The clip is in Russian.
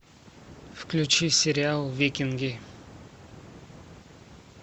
включи сериал викинги